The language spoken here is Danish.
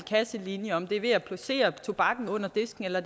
kasselinje om det er ved at placere tobakken under disken eller